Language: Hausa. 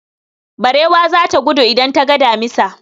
Barewa za ta gudu idan ta ga damisa.